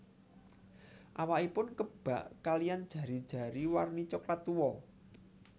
Awakipun kebak kaliyan jari jari warni coklat tua